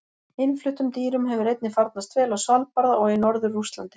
Innfluttum dýrum hefur einnig farnast vel á Svalbarða og í norður Rússlandi.